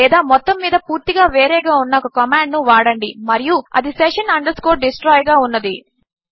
లేదా మొత్తము మీద పూర్తిగా వేరేగా ఉన్న ఒక కమాండ్ ను వాడండి మరియు అది session destroy గా ఉన్నది